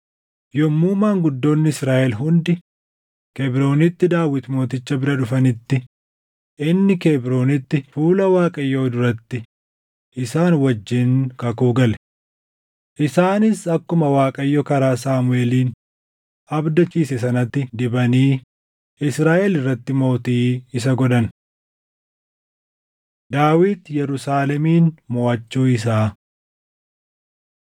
Yommuu maanguddoonni Israaʼel hundi Kebroonitti Daawit Mooticha bira dhufanitti, inni Kebroonitti fuula Waaqayyoo duratti isaan wajjin kakuu gale. Isaanis akkuma Waaqayyo karaa Saamuʼeeliin abdachiise sanatti dibanii Israaʼel irratti mootii isa godhan. Daawit Yerusaalemin Moʼachuu Isaa 11:4‑9 kwf – 2Sm 5:6‑10